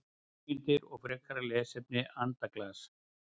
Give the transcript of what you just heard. Heimildir og frekara lesefni Andaglas.